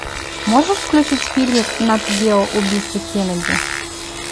можешь включить фильмик нат гео убийство кеннеди